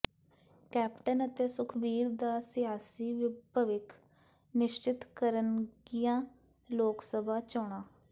captain ਅਤੇ ਸੁਖਬੀਰ ਦਾ ਸਿਆਸੀ ਭਵਿੱਖ ਨਿਸ਼ਚਿਤ ਕਰਨਗੀਆਂ ਲੋਕਸਭਾ ਚੋਣਾਂ